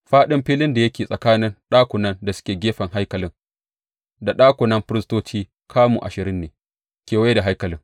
Faɗin filin da yake tsakanin ɗakunan da suke gefen haikalin da ɗakunan firistoci kamu ashirin ne kewaye da haikalin.